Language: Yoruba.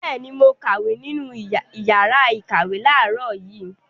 Bẹ́ẹ̀ ni, mo kàwé nínú ìyàrá-ìkàwé láàárọ̀ yìí.